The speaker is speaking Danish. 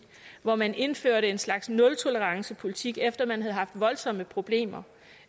hvor man indførte en slags nultolerancepolitik efter man havde haft voldsomme problemer